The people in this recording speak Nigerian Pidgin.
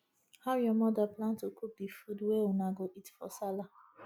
how your mother plan to cook di food wey una go eat for sallah